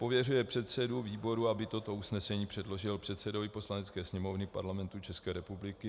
Pověřuje předsedu výboru, aby toto usnesení předložil předsedovi Poslanecké sněmovny Parlamentu České republiky.